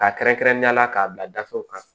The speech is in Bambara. K'a kɛrɛnkɛrɛnnenyala k'a bila gafew kan